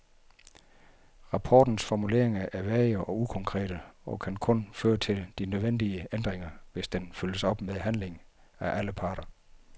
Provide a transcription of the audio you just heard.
Rapportens formuleringer er vage og ukonkrete og kan kun føre til de nødvendige ændringer, hvis den følges op med handling af alle parter.